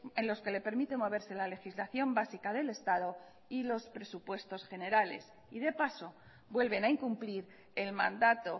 en los que le permite moverse la legislación básica del estado y los presupuestos generales y de paso vuelven a incumplir el mandato